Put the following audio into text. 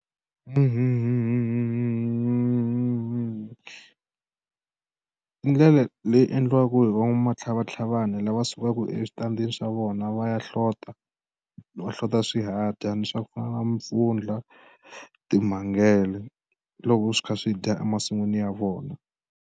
Ndlela leyi endliwaka hi va n'wamatlhavatlhavana lava sukaka eswitandini swa vona va ya hlota no hlota swihadyani swa ku fana ni n'wampfundla timhangele loko swi kha swi dya emasin'wini ya vona.